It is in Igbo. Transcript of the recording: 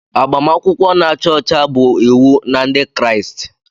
Agbamakwụkwọ na-acha ọcha bụ iwu na Ndị Kraịst.